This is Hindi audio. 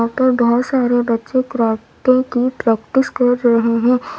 ऊपर बहोत सारे बच्चे कराटे की प्रैक्टिस कर रहे हैं।